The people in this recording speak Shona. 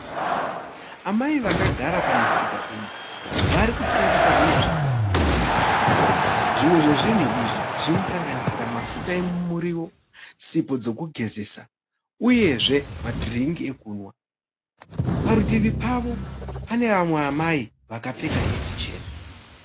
Amai vakagara pamusika uyu varikutengesa zvinhu zvakasiyana. Zvimwe zvezvinhu izvi zvinosanganisira mafuta emumuriwo, sipo dzekugezesa uyezve madhiringi ekumwa. Parutivi pavo panevamwe amai vakapfeka heti chena.